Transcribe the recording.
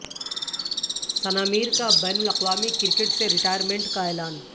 ثنا میر کا بین الاقوامی کرکٹ سے ریٹائرمنٹ کا اعلان